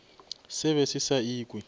se be se sa ikwe